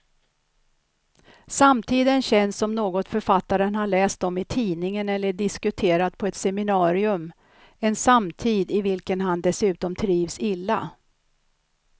Samtiden känns som något författaren har läst om i tidningen eller diskuterat på ett seminarium, en samtid i vilken han dessutom trivs illa.